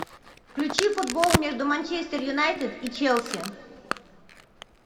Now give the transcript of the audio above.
включи футбол между манчестер юнайтед и челси